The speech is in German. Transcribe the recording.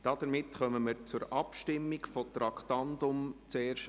Damit kommen wir zur Abstimmung über das Traktandum 107: